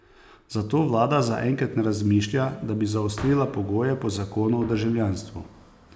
Zato vlada zaenkrat ne razmišlja, da bi zaostrila pogoje po zakonu o državljanstvu.